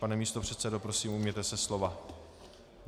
Pane místopředsedo, prosím, ujměte se slova.